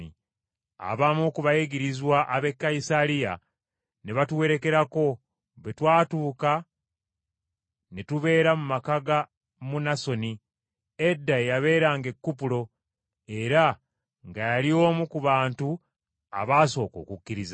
Abamu ku bayigirizwa ab’e Kayisaliya ne batuwerekerako, bwe twatuuka ne tubeera mu maka ga Munasoni, edda eyabeeranga e Kupulo era nga yali omu ku bantu abaasooka okukkiriza.